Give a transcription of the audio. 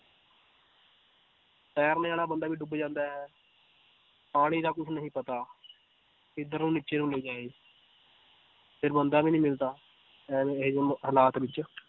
ਤੈਰਨੇ ਵਾਲਾ ਬੰਦਾ ਵੀ ਡੁੱਬ ਜਾਂਦਾ ਹੈ ਪਾਣੀ ਦਾ ਕੁਛ ਨਹੀਂ ਪਤਾ ਕਿੱਧਰੋਂ ਨੀਚੇ ਨੂੰ ਲੈ ਜਾਏ ਫਿਰ ਬੰਦਾ ਵੀ ਨੀ ਮਿਲਦਾ ਐਵੇਂ ਇਹ ਜਿਹੇ ਹਾਲਾਤ ਵਿੱਚ